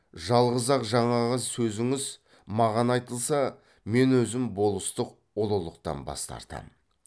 жалғыз ақ жаңағы сөзіңіз маған айтылса мен өзім болыстық ұлықтықтан бас тартам